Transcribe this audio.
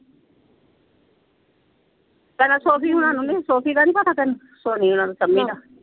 ਪਹਿਲਾਂ ਸੋਫ਼ੀ ਹੁਣਾ ਨੂੰ ਨੀ ਸੀ ਸੋਫ਼ੀ ਦਾ ਨੀ ਪਤਾ ਤੈਨੂੰ ਸੋਨੀਆ ਦਾ ਸ਼ਮੀ ਦਾ।